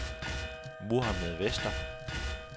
Mohamed Vester